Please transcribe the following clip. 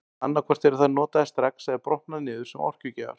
Annað hvort eru þær notaðar strax eða brotna niður sem orkugjafar.